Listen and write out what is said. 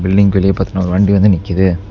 பில்டிங்க்கு வெளிய பாத்திங்ன ஒரு வண்டி வந்து நிக்குது.